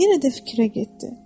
Yenə də fikrə getdi.